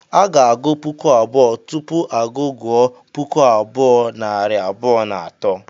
A ga-agụ puku abụọ, tupu a gụ gụọ puku abụọ, nari abụọ na atọ